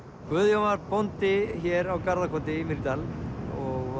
Guðjón var bóndi hér á Garðakoti í Mýrdal og